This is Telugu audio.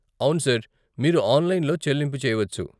అవును సార్, మీరు ఆన్లైన్లో చెల్లింపు చేయవచ్చు.